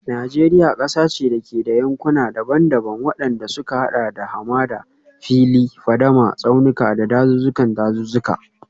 Najeriya kasa ce da ke da yankuna daban-daban, wadanda suka hada da hamada, fili, fadama, tsaunuka, da dazuzzukan dazuzzuka.